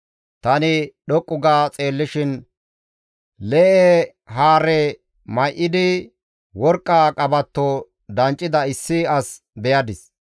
Tani dhoqqu ga xeellishin lee7e haare may7idi worqqa qabatto danccida issi as beyadis.